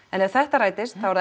en ef þetta rætist þá er